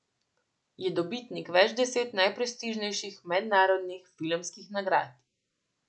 Je dobitnik več deset najprestižnejših mednarodnih filmskih nagrad.